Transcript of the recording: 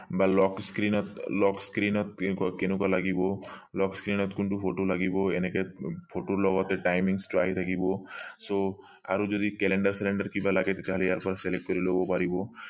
বা lock screen ত lock screen কেনেকুৱা লাগিব lock screen ত কোনটো photo লাগিব এনেকে photo ৰ লগতে timing টো আহি থাকিব so আৰু যদি calender কিবা লাগে তেতিয়া হলে ইয়াৰ পৰা select লব পাৰিব